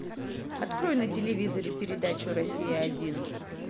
открой на телевизоре передачу россия один